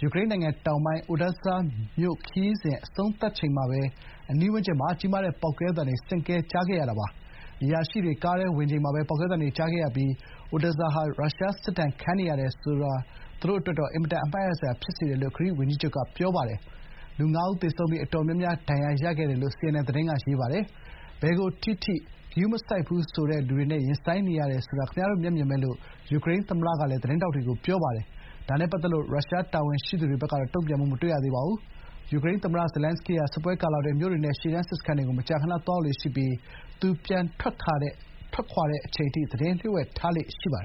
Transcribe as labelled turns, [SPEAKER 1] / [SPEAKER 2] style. [SPEAKER 1] ယူကရိန်းနိုင်ငံတောင်ပိုင်း Odesa မြို့ခရီးစဉ် အဆုံးသတ်ချိန်မှာပဲ အနီးဝန်းကျင်မှာ ကြီးမားတဲ့ပေါက်ကွဲသံတွေ ဆင့်ကဲ ကြားလိုက်ရတာပါ။ အရာရှိတွေကားထဲဝင်ချိန်မှာပဲ ပေါက်ကွဲသံတွေကြားခဲ့ရပြီး Odesa မြို့ဟာ ရုရှားစစ်ဒဏ်ခံနေရတယ်ဆိုတာ သူ့အတွက်တော့ အင်မတန်အမှတ်ရစရာဖြစ်စေတယ်လို့ ဂရိဝန်ကြီးချုပ်ကပြောပါတယ်။ လူ ငါးဦး သေဆုံးပြီး အတော်များများ ဒဏ်ရာရခဲ့တယ်လို့ စီအန်အန်သတင်းက ဖော်ပြပါတယ်။ ဘယ်ကိုထိထိ ဂရုမစိုက်ဘူးဆိုတဲ့လူတွေနဲ့ ရင်ဆိုင်နေရတယ်ဆိုတာ ခင်ဗျားတို့မျက်မြင်ပဲလို့ ယူကရိန်းသမ္မတကလည်း သတင်းထောက်တွေကို ပြောပါတယ်။ ဒါနဲ့ပတ်သက်လို့ ရုရှားတာဝန်ရှိသူတွေဘက်ကတော့ တုံ့ပြန်မှု မတွေ့ရသေးပါဘူး။ ယူကရိန်းသမ္မတ Zelenskyy ဟာ စစ်ပွဲကာလအတွင်း မြို့တွေနဲ့ ရှေ့တန်းစစ်စခန်းတွေကို မကြာမကြာ သွားရောက်လေ့ရှိပြီး သူ ပြန်ထွက်ခွာတဲ့အချိန်အထိ သတင်းလျှို့ဝှက်ထားလေ့
[SPEAKER 2] ရှိပါတယ်